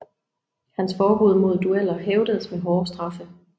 Hans forbud mod dueller hævdedes med hårde straffe